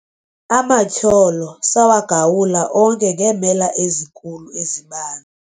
amatyholo sawagawula onke ngeemela ezinkulu eziban